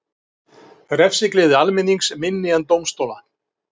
Refsigleði almennings minni en dómstóla